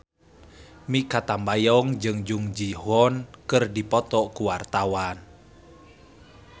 Mikha Tambayong jeung Jung Ji Hoon keur dipoto ku wartawan